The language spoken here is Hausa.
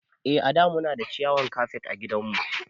Eh a da Muna da ciyawan kafet ã gidan mu.